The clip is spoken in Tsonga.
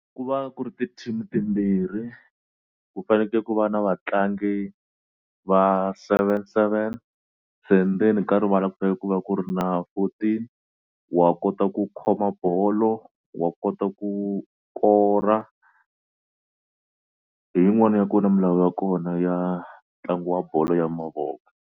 Ku va ku ri ti-team timbirhi ku faneke ku va na vatlangi va seven seven se ndzeni ka rivala ku ta ve ku va ku ri na fourteen wa kota ku khoma bolo wa kota ku kora hi yin'wana ya ku na milawu ya kona ya ntlangu wa bolo ya mavoko.